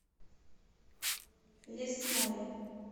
лесное